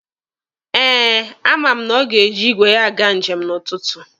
Eh, a ma m na ọ ga-eji igwe ya aga njem n'ụtụtụ.